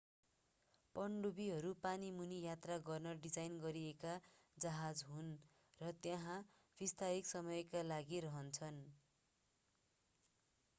पनडुब्बीहरू पानीमुनि यात्रा गर्न डिजाइन गरिएका जहाज हुन् र त्यहाँ विस्तारित समयका लागि रहन्छन्